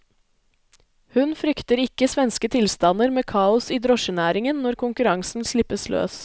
Hun frykter ikke svenske tilstander med kaos i drosjenæringen når konkurransen slippes løs.